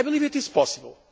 I believe it is possible.